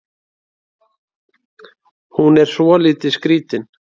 Hún er svolítið skrítin.